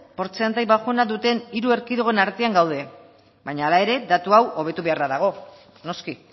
portzentai baxuena duten hiru erkidegoen artean gaude baina hala ere datu hau hobetu beharra dago noski